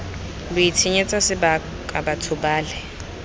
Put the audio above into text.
lo itshenyetsa sebaka batho bale